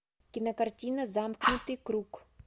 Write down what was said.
кинокартина замкнутый круг